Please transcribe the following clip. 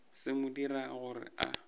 se mo dirago gore a